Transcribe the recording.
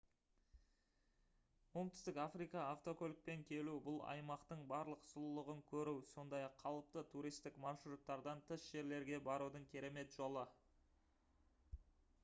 оңтүстік африкаға автокөлікпен келу бұл аймақтың барлық сұлулығын көру сондай-ақ қалыпты туристік маршруттардан тыс жерлерге барудың керемет жолы